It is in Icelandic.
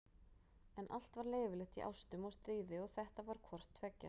En allt var leyfilegt í ástum og stríði og þetta var hvort tveggja.